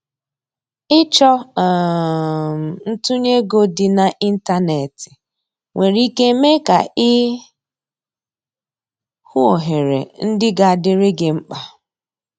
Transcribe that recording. Ịchọ um ntunye ego dị na ịntanetị nwere ike mee ka i hụ ohere ndị ga adịrị gi mkpa.